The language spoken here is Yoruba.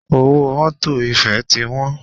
Owó mọ́tọ̀ ìfẹ́ ti wọ́n.